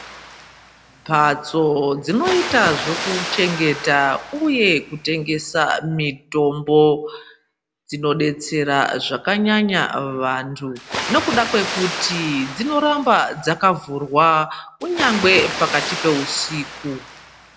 Mbhatso dzinoita zvekuchengeta uye kutengesa mitombo dzinodetsera zvakanyanya vantu, nekuda kwekuti dzinoramba dzakavhurwa kunyangwe pakati peusiku.